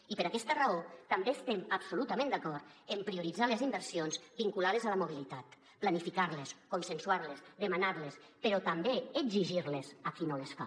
i per aquesta raó també estem absolutament d’acord en prioritzar les inversions vinculades a la mobilitat planificar les consensuar les demanar les però també exigir les a qui no les fa